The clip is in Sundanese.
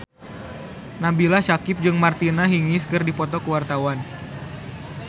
Nabila Syakieb jeung Martina Hingis keur dipoto ku wartawan